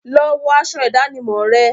Lọ wọ aṣọ ìdánimọ̀ rẹ!